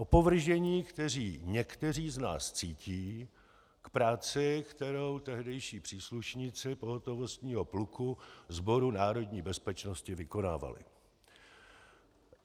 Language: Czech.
Opovržení, kteří někteří z nás cítí k práci, kterou tehdejší příslušníci pohotovostního pluku Sboru národní bezpečnosti vykonávali.